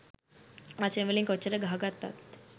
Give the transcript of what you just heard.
වචන වලින් කොච්චර ගහ ගත්තත්